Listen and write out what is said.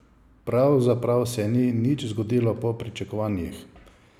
Pravzaprav se nič ni zgodilo po pričakovanjih.